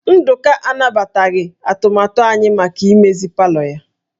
Nduka anabataghị atụmatụ anyị maka imegharị palọ ya